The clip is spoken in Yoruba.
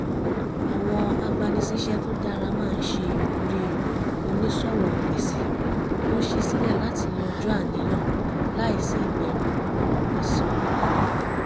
àwọn agbanisíṣẹ́ tó dára máa ń ṣe ìwúrí onísọ̀rọ̀ǹgbèsì tó ṣí sílẹ̀ láti yanjú àníyàn láìsí ìbẹ̀rù ẹ̀san